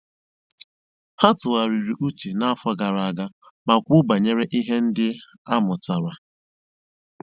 Ha tụ̀ghàrị̀rì ùchè n'àfọ́ gààrà àga mà kwùó bànyèrè ihe ndí a mụ́tàra.